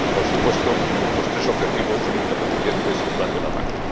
Por supuesto, los tres objetivos son interdependientes y van de la mano.